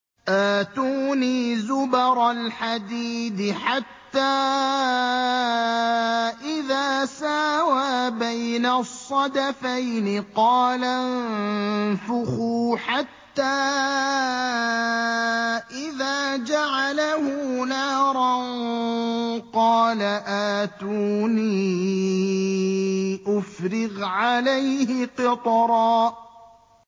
آتُونِي زُبَرَ الْحَدِيدِ ۖ حَتَّىٰ إِذَا سَاوَىٰ بَيْنَ الصَّدَفَيْنِ قَالَ انفُخُوا ۖ حَتَّىٰ إِذَا جَعَلَهُ نَارًا قَالَ آتُونِي أُفْرِغْ عَلَيْهِ قِطْرًا